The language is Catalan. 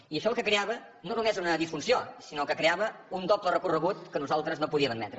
i això el que creava no era només una disfunció sinó que creava un doble recorregut que nosaltres no podíem admetre